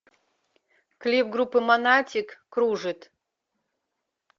клип группы монатик кружит